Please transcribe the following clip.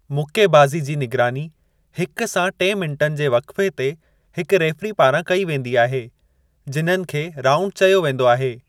मुक्केबाज़ी जी निगरानी हिकु सां टे मिनटुनि जे वक़्फ़े ते हिकु रेफ़री पारां कई वेंदी आहे जिन्हनि खे राउँड चयो वेंदो आहे।